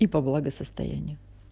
типа благосостояние